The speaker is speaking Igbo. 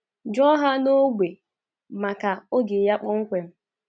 Jụọ ha n’ógbè maka oge ya kpọmkwem.